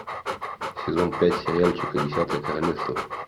сезон пять сериальчика десятое королевство